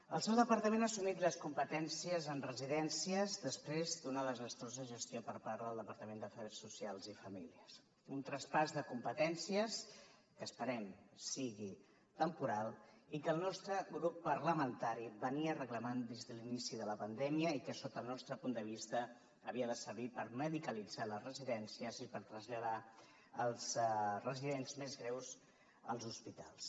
el seu departament ha assumit les competències en residències després d’una desastrosa gestió per part del departament d’afers socials i famílies un traspàs de competències que esperem que sigui temporal i que el nostre grup parlamentari reclamava des de l’inici de la pandèmia i que sota el nostre punt de vista havia de servir per medicalitzar les residències i per traslladar els residents més greus als hospitals